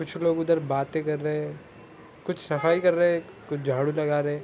कुछ लोग उधर बातें कर रहे है कुछ सफाई कर रहे है कुछ झाड़ू लगा रहे है ।